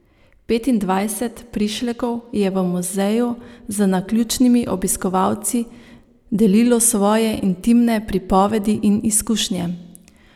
Petindvajset prišlekov je v muzeju z naključnimi obiskovalci delilo svoje intimne pripovedi in izkušnje.